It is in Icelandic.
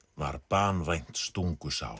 var banvænt stungusár